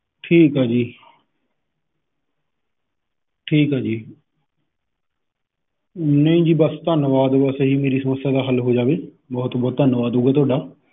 ਠੀਕ ਆ ਜੀ ਠੀਕ ਆ ਜੀ। ਨਹੀਂ ਜੀ ਬਸ ਧੰਨਵਾਦ, ਬਸ ਇਹੀ ਮੇਰੀ ਸਮੱਸਿਆ ਦਾ ਹੱਲ ਹੋ ਜਾਵੇ, ਬਹੁਤ ਬਹੁਤ ਧੰਨਵਾਦ ਹੋਊਗਾ ਤੁਹਾਡਾ ।